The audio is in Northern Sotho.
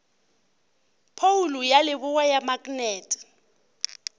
phoulo ya leboa ya maknete